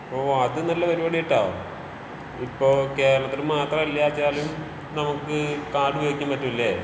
ഓഹ് അത് നല്ല പരുപാടിയാട്ടോ. ഇപ്പോ കേരളത്തില് മാത്രമല്ലാച്ചാലും നമുക്ക് കാർഡ് ഉപയോഗിക്കാൻ പറ്റുംലേ?